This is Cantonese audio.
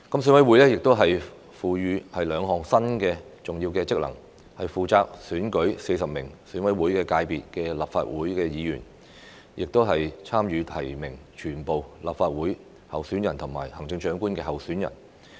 選委會獲賦予兩項新的重要職能，負責選舉40名選委會界別的立法會議員，以及參與提名全部立法會議員候選人和行政長官候選人。